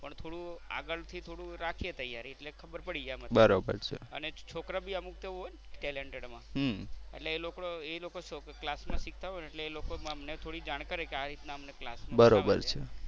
પણ થોડું આગળ થી થોડું રાખીએ તૈયારી એટલે ખબર પડી જાય. અને છોકરા પણ અમુક હોય ને talented માં એટલે એ લોકો એ લોકો ક્લાસ માં શીખતા હોય ને એટલે એ લોકો અમને થોડી જાણ કરે કે આ રીતે અમને ક્લાસમાં શીખવાડે છે.